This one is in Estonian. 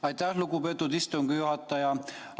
Aitäh, lugupeetud istungi juhataja!